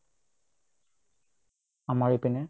আমাৰ এইপিনে